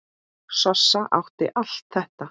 Sossa átti allt þetta.